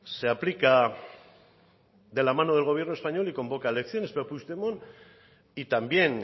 se aplica de la mano del gobierno español y convoca elecciones pero puigdemont y también